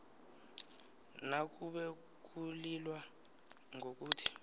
nakube kulilwa ngokuthi